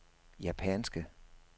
japanske